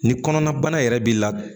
Ni kɔnɔna bana yɛrɛ b'i la